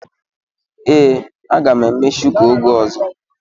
Ee, a ga m eme shuku oge ọzọ.